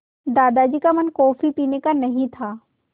दादाजी का मन कॉफ़ी पीने का नहीं था